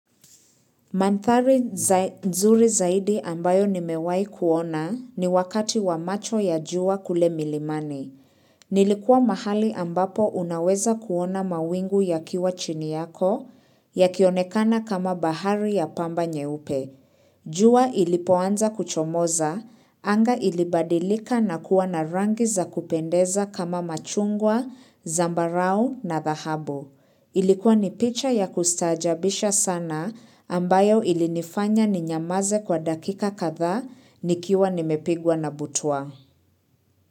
Mandhari nzuri zaidi ambayo nimewahi kuona ni wakati wa macho ya jua kule milimani. Nilikuwa mahali ambapo unaweza kuona mawingu yakiwa chini yako, yakionekana kama bahari ya pamba nyeupe. Jua ilipoanza kuchomoza, anga ilibadilika na kuwa na rangi za kupendeza kama machungwa, zambarau na dhahabu. Ilikuwa ni picha ya kustaajabisha sana ambayo ilinifanya ninyamaze kwa dakika kadhaa nikiwa nimepigwa na butwaa.